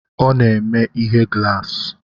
Ọ na-eme ihe glaasi